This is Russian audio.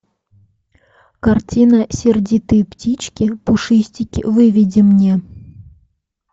картина сердитые птички пушистики выведи мне